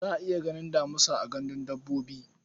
Za a iya ganin damisa a gandun dabbobi.